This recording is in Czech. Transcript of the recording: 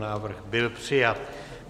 Návrh byl přijat.